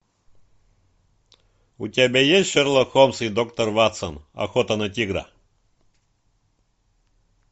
у тебя есть шерлок холмс и доктор ватсон охота на тигра